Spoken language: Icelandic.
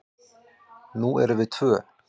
Nú erum við tvö.